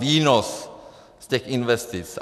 Výnos z těch investic.